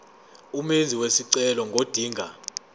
umenzi wesicelo ngodinga